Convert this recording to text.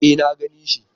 E na gani shi.